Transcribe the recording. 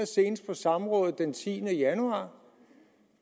senest på et samråd den tiende januar